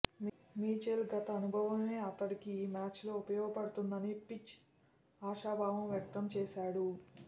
Mitchell గత అనుభవమే అతడికి ఈ మ్యాచ్లో ఉపయోగపడుతుందని ఫించ్ ఆశాభావం వ్యక్తంచేశాడు